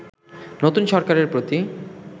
নতুন সরকারের প্রতি